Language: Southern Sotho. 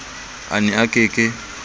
a ne a ke ke